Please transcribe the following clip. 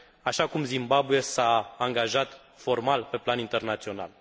așa cum Zimbabwe s a angajat formal pe plan internațional.